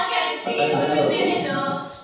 आता सध्या काय करतोस तू?